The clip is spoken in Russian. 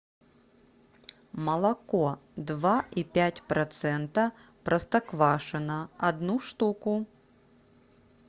молоко два и пять процента простоквашино одну штуку